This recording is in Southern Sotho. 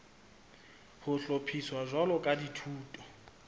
ho hlophiswa jwalo ka dithuto